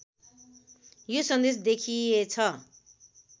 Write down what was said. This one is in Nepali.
यो सन्देश देखिएछ